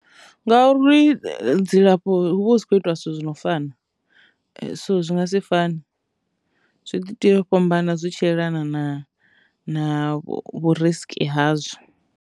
Ngauri dzilafho hu vha hu si khou itiwa zwithu zwi no fana so zwi nga si fane zwi ḓo tea u fhambana zwi tshi yelana na na vhu risk hazwo.